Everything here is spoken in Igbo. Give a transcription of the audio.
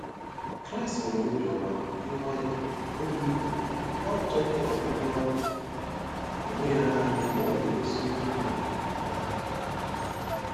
Kraịst nwere obiọma, dị nwayọọ, ọmịiko, na achọghị ọdịmma onwe ya nanị mgbe ọ na-emeso ndị mmadụ mmadụ ihe.